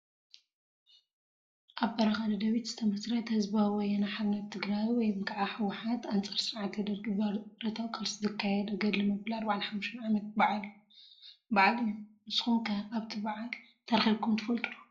ኣብ በረኻ ደደቢት ዝተመስረተ ህዝባዊ ወያነ ሓርነት ትግራይ [ህወሓት] ኣንጻር ስርዓት ደርጊ ብረታዊ ቃልሲ ዘካየደ ገድሊ መበል 45 ዓመታዊ ባዓል እዩ። ንስኩም ከ ኣብቲ ባዓል ተረኪብኩም ትፈልጡ ዶ ?